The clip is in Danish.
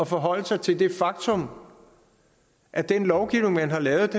forholde sig til det faktum at den lovgivning man har lavet